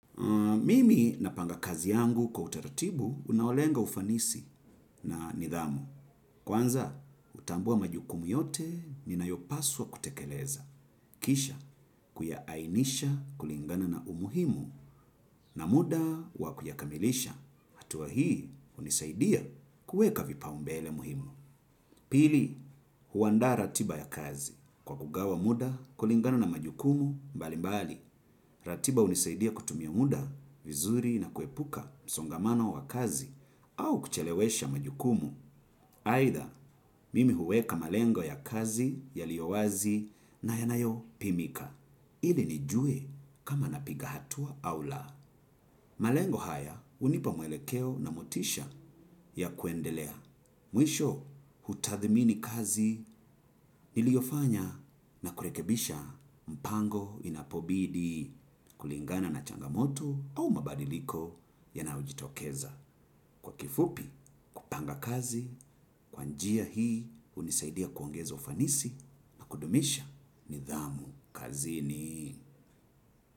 Mimi napanga kazi yangu kwa utaratibu, unaolenga ufanisi na nidhamu. Kwanza, hutambua majukumu yote, ninayopaswa kutekeleza. Kisha, kuyaainisha kulingana na umuhimu na muda wa kuyakamilisha. Hatua hii, hunisaidia kuweka vipaumbele muhimu. Pili, huandaa ratiba ya kazi. Kwa kugawa muda, kulingana na majukumu, mbali mbali. Ratiba hunisaidia kutumia muda vizuri na kuepuka msongamano wa kazi au kuchelewesha majukumu. Aidha mimi huweka malengo ya kazi yaliyowazi na yanayopimika. Ili nijue kama napiga hatua au la. Malengo haya hunipa mwelekeo na motisha ya kuendelea. Mwisho, hutathimini kazi niliyofanya na kurekebisha mpango inapobidi kulingana na changamoto au mabadiliko yanayojitokeza. Kwa kifupi, panga kazi, kwa njia hii hunisaidia kuangeza ufanisi na kudumisha nidhamu kazini.